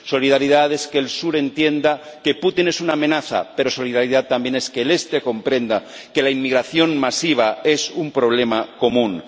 Solidaridad es que el Sur entienda que Putin es una amenaza, pero solidaridad también es que el Este comprenda que la inmigración masiva es un problema común.